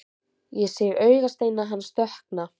Ég sé augasteina hans dökkna.